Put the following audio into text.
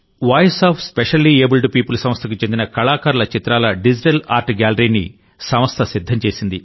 voice of specially abled people సంస్థకు చెందిన కళాకారుల చిత్రాల డిజిటల్ ఆర్ట్ గ్యాలరీని సంస్థ సిద్ధం చేసింది